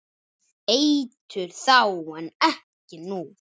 Eitur þá en ekki nú?